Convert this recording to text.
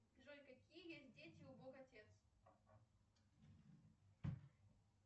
джой какие есть дети у бог отец